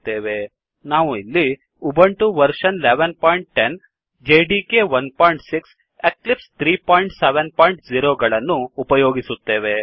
ನಾವು ಇಲ್ಲಿ Ubuntu version 1110 OS Ubuntu version ೧೧೧೦ operating system Java development kit 16 Java development kit ೧೬ Eclipse 370 ಮತ್ತು Eclipse ೩೭೦ ಗಳನ್ನು ಉಪಯೋಗಿಸುತ್ತೇವೆ